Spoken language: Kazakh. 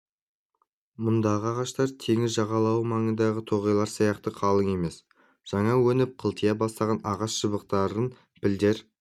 мұндағы ағаштар теңіз жағалауы маңындағы тоғайлар сияқты қалың емес жаңа өніп қылтия бастаған ағаш шыбықтарын пілдер